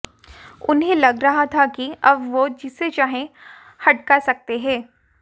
उन्हें लग रहा था कि अब वह जिसे चाहे हड़का सकते हैं